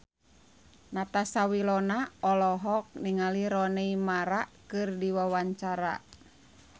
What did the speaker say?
Natasha Wilona olohok ningali Rooney Mara keur diwawancara